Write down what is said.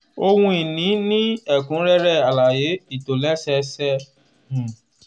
ohun ìní ní ẹ̀kúnrẹ́rẹ́ alaye ìtòlẹ́sẹẹsẹ. um